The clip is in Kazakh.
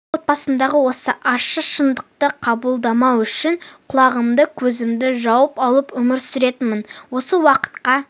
отбасымдағы осы ащы шындықты қабылдамау үшін құлағымды көзімді жауып алып өмір сүретінмін осы уақытқа